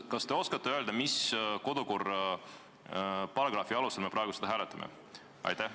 Kas te oskate öelda, mis kodukorraseaduse paragrahvi alusel me praegu seda hääletame?